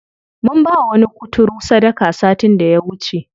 Mun bawa wani kuturu sadaka satin da ya wuce.